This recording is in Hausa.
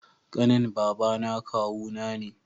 Kanin babana kawu na ne